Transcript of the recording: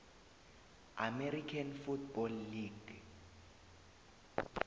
american football league